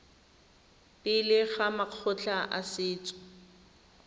pele ga makgotla a setso